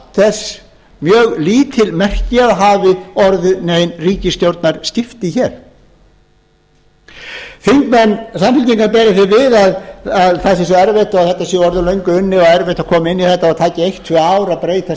þess mjög lítil merki að hafi orðið nein ríkisstjórnarskipti þingmenn samfylkingar bera því við að það sé svo erfitt þetta svo orðið löngu unnið og það sé svo erfitt að koma inn í þetta og það taki eitt til tvö ár að breyta